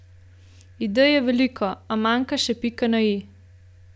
Idej je veliko, a manjka še pika na i.